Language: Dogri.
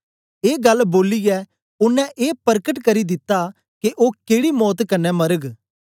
ए गल्ल बोलियै ओनें ए परकट करी दित्ता के ओ केड़ी मौत कन्ने मरग